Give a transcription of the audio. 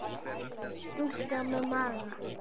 Stúlka með maga.